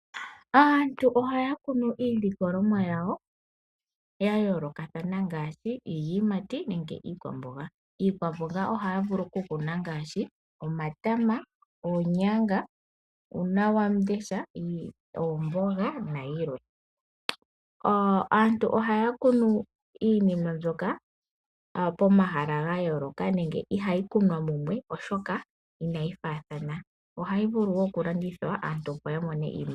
Aantu ohaya kunu iilikolonwa yawo ya yoolokathana ngaashi iiyimati nenge iikwamboga. Iikwamboga ohaya vulu okukuna ongaashi omatama, oonyanga, uunawamundesha, oomboga nayilwe. Aantu ohaya kunu iinima mbyoka pomahala ga yooloka nenge ihayi kunwa mumwe, oshoka inayi faathana. Ohayi vulu wo okulandithwa, opo aantu ya mone oshimaliwa.